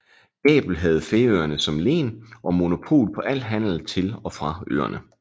Gabel havde Færøerne som len og monopol på al handel til og fra øerne